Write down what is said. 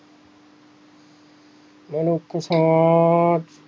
ਮਨੁੱਖ ਤਾਂ